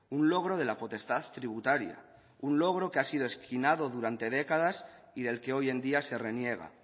un logro de la potestad tributaria un logro que ha sido esquinado durante décadas y del que hoy en día se reniega